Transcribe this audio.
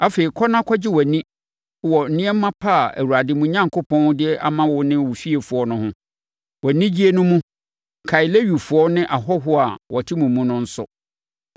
Afei, kɔ na kɔgye wʼani wɔ nneɛma pa a Awurade, mo Onyankopɔn, de ama wo ne wo fiefoɔ no ho. Wʼanigyeɛ no mu, kae Lewifoɔ ne ahɔhoɔ a wɔte mo mu no nso.